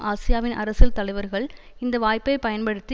ஆசியாவின் அரசியல் தலைவர்கள் இந்த வாய்ப்பை பயன்படுத்தி